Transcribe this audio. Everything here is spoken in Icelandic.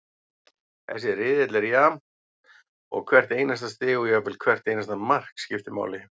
Þessi riðill er jafn og hvert einasta stig og jafnvel hvert einasta mark, skiptir máli.